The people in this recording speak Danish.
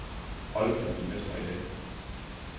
Holdet kan blive mestre i dag.